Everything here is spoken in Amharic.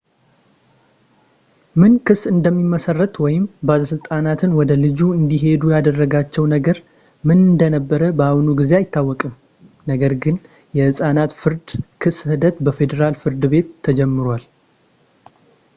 ምን ክስ እንደሚመሰረት ወይም ባለሥልጣናትን ወደ ልጁ እንዲሄዱ ያደረጋቸው ነገር ምን እንደነበር በአሁኑ ጊዜ አይታወቅም ፣ ነገር ግን የሕፃናት የፍርድ ክስ ሂደት በፌዴራል ፍርድ ቤት ተጀምሯል